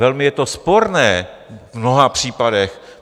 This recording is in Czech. Velmi je to sporné v mnoha případech.